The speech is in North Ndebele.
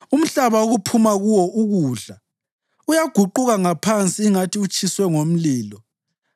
Umhlaba, okuphuma kuwo ukudla, uyaguquka ngaphansi ingathi utshiswe ngomlilo;